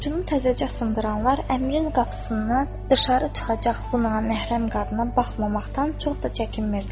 Orucunu təzəcə sındıranlar əmrin qapısından dışarı çıxacaq bu naməhrəm qadına baxmamaqdan çox da çəkinmirdilər.